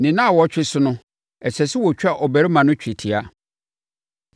Ne nnawɔtwe so no, ɛsɛ sɛ wɔtwa abarimaa no twetia.